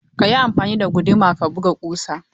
Ka yi amfani da guduma ka buga ƙusa!